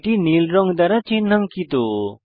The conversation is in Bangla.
এটি নীল রং দ্বারা চিন্হাঙ্কিত